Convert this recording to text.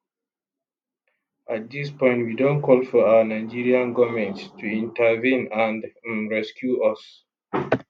at dis point we don call for our nigerian goment to intervene and um rescue us